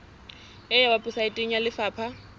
e ya weposaeteng ya lefapha